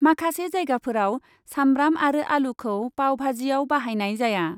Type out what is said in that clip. माखासे जायगाफोराव सामब्राम आरो आलुखौ पावबाजियाव बाहायनाय जाया ।